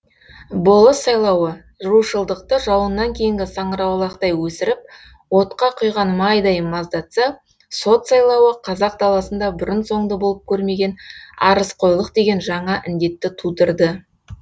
болыс сайлауы рушылдықты жауыннан кейінгі саңырауқұлақтай өсіріп отқа құйған майдай маздатса сот сайлауы қазақ даласында бұрын соңды болып көрмеген арызқойлық деген жаңа індетті тудырды